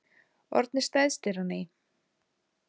Orðnir stærstir á ný